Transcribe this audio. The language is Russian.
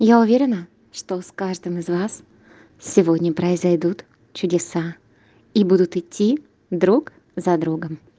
я уверена что с каждым из вас сегодня произойдут чудеса и будут идти друг за другом